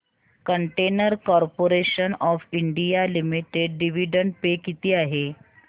container corporation of India limited dividend pay किती आहे